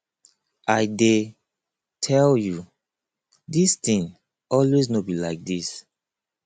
i dey tell you dis thing always no be like dis